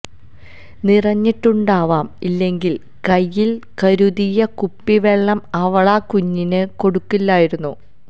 നിറഞ്ഞിട്ടുണ്ടാവാം ഇല്ലെങ്കിൽ കൈയിൽ കരുതിയ കുപ്പിവെള്ളം അവളാ കുഞ്ഞിന് കൊടുക്കില്ലായിരുന്നു